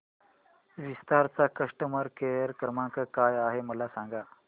विस्तार चा customer care क्रमांक काय आहे मला सांगा